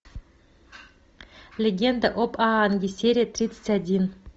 легенда об аанге серия тридцать один